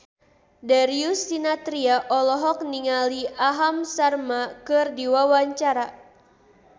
Darius Sinathrya olohok ningali Aham Sharma keur diwawancara